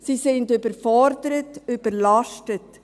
Sie sind überfordert und überlastet.